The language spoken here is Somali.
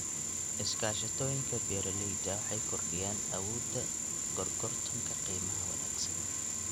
Iskaashatooyinka beeralayda waxay kordhiyaan awoodda gorgortanka qiimaha wanaagsan.